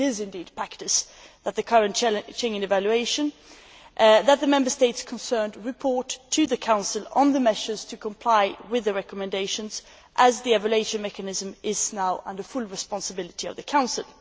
It is indeed the practice in the current Schengen evaluation that the Member States concerned report to the Council on the measures to comply with the recommendations, as the evaluation mechanism is now under full responsibility of the Council.